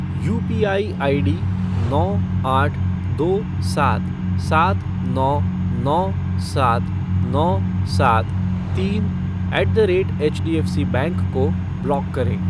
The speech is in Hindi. यूपीआई आईडी नौ आठ दो सात सात नौ नौ सात नौ सात तीन eight the rate HDFC bank को ब्लॉक करें।